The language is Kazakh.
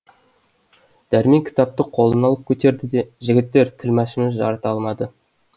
дәрмен кітапты қолына алып көтерді де жігіттер тілмәшіміз жарыта алмады